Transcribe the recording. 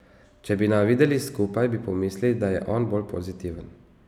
Če bi naju videli skupaj, bi pomislili, da je on bolj pozitiven.